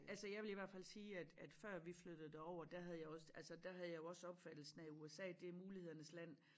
Altså jeg vil i hvert fald sige at at før vi flyttede derover der havde jeg også altså der havde jeg jo også opfattelsen af at USA det mulighedernes land